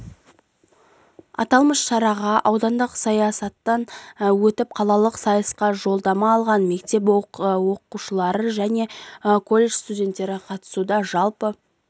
аталмыш шараға аудандық сайыстан өтіп қалалық сайысқа жолдама алған мектеп оқушылары және коллежд студенттері қатысуда жалпы